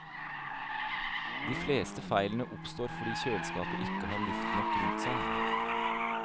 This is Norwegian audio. De fleste feilene oppstår fordi kjøleskapet ikke har luft nok rundt seg.